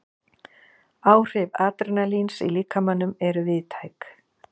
Áhrif adrenalíns í líkamanum eru víðtæk.